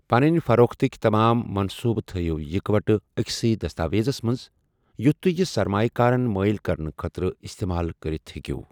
پَنٕنۍ فَروختٕکہِ تَمام منٛصوٗبہٕ تھایِو اِکہٕ وٹہٕ أکسٕے دستاویزس منٛز یُتھ تُہہِ یہِ سرمایہ كارن مٲیِل کرنہٕ خٲطرٕ اِستعمال کٔرِتھ ہیٚکِو ۔